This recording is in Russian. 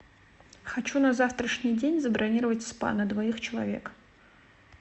хочу на завтрашний день забронировать спа на двоих человек